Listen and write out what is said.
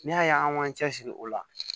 N'i y'a ye an k'an cɛsiri o la